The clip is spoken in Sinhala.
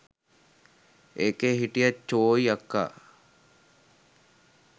එකේ හිටිය චෝයි අක්කා